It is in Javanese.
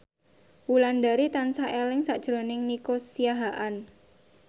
Wulandari tansah eling sakjroning Nico Siahaan